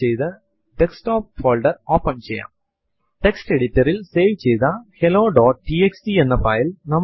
ഇതിനായി പ്രോംപ്റ്റ് ൽ cat space right angle bracket space filename ഉദാഹരണത്തിനു ഫൈൽ1 എന്ന് ടൈപ്പ് ചെയ്തു എന്റർ അമർത്തുക